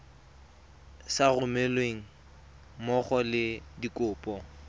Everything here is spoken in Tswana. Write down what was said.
sa romelweng mmogo le dikopo